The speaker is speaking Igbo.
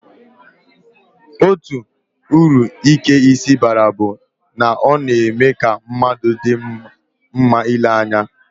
Otu uru ike isi baara bụ na ọ na-eme ka mmadụ dị mma ile anya